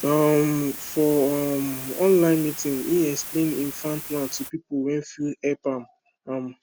um for um online meeting him explain him farm plan to people wey fit help am am